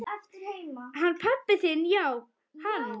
Hann pabbi þinn já, hann.